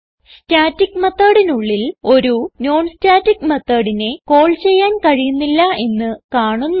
static methodനുള്ളിൽ ഒരു non static methodനെ കാൾ ചെയ്യാൻ കഴിയുന്നില്ല എന്ന് കാണുന്നു